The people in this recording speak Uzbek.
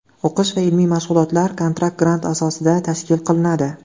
O‘qish va ilmiy mashg‘ulotlar kontrakt-grant asosida tashkil qilinadi.